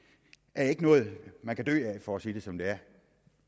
er ikke noget man kan dø af for at sige det som det er